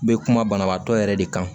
Bɛ kuma banabaatɔ yɛrɛ de kan